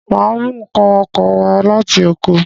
Màá mú n̄ ǹkan oko wa láti Oko